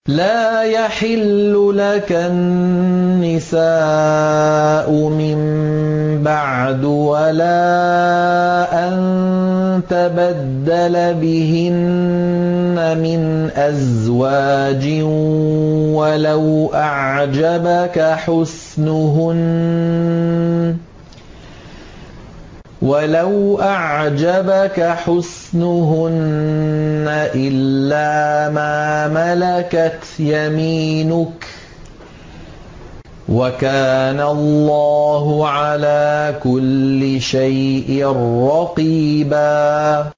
لَّا يَحِلُّ لَكَ النِّسَاءُ مِن بَعْدُ وَلَا أَن تَبَدَّلَ بِهِنَّ مِنْ أَزْوَاجٍ وَلَوْ أَعْجَبَكَ حُسْنُهُنَّ إِلَّا مَا مَلَكَتْ يَمِينُكَ ۗ وَكَانَ اللَّهُ عَلَىٰ كُلِّ شَيْءٍ رَّقِيبًا